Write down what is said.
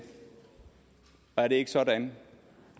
og er det ikke sådan